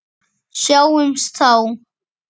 Sjáumst þá!